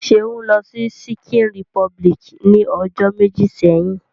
Seun lo si Ṣikin Repubiliki ni ojo meji seyin.